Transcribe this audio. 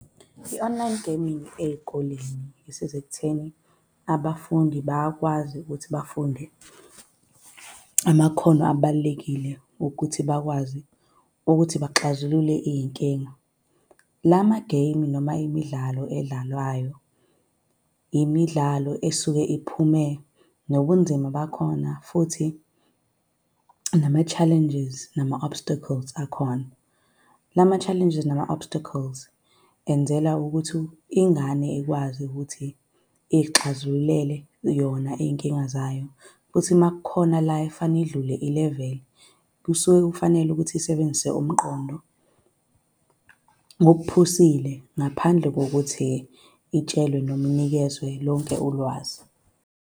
I-online gaming ey'koleni isiza ekutheni abafundi bayakwazi ukuthi bafunde amakhono abalulekile ukuthi bakwazi ukuthi baxazulule iy'nkinga. La ma-game, noma imidlalo edlalwayo imidlalo esuke iphume nobunzima bakhona, futhi nama-challenges nama-obstacles akhona. La ma-challenges nama-obstacles enzela ukuthi ingane ikwazi ukuthi izixazululele yona iy'nkinga zayo. Futhi uma kukhona la efanele idlule i-level, kusuke kufanele ukuthi isebenzise umqondo ngokuphusile ngaphandle kokuthi itshelwe noma inikezwe lonke ulwazi.